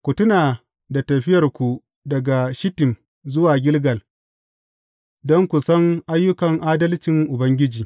Ku tuna da tafiyarku daga Shittim zuwa Gilgal, don ku san ayyukan adalcin Ubangiji.